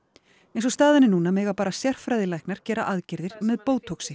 eins og staðan er núna mega bara sérfræðilæknar gera aðgerðir með